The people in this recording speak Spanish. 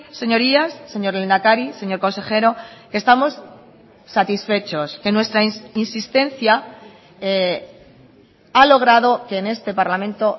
señorías señor lehendakari señor consejero que estamos satisfechos que nuestra insistencia ha logrado que en este parlamento